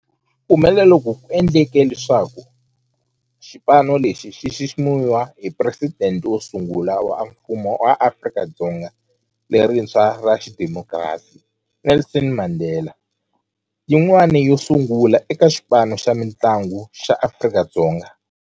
Ku humelela loku ku endle leswaku xipano lexi xi xiximiwa hi Presidente wo sungula wa Mfumo wa Afrika-Dzonga lerintshwa ra xidemokirasi, Nelson Mandela, yin'wana yo sungula eka xipano xa mintlangu xa Afrika-Dzonga.